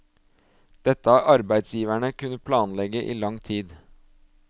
Dette har arbeidsgiverne kunne planlegge i lang tid.